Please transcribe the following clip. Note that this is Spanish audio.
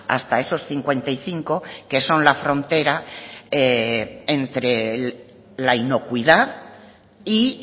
hasta esos cincuenta y cinco que son la frontera entre la inocuidad y